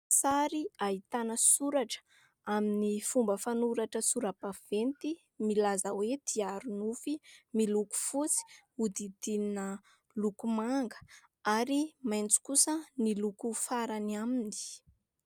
Sary ahitana soratra amin'ny fomba fanoratra sorabaventy milaza hoe : "Diary nofy". Miloko fotsy, hodidinina loko manga ary maitso kosa ny loko farany aminy.